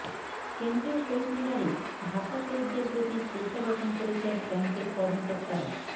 কেন্দ্রীয় শহীদ মিনারে ভাষাশহীদদের প্রতি শ্রদ্ধা জ্ঞাপন করেছেন ব্যাংকের কর্মকর্তারা